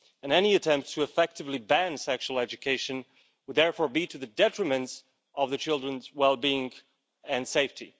Any attempt to effectively ban sexual education would therefore be to the detriment of the children's well-being and safety.